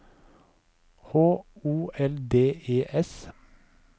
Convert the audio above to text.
H O L D E S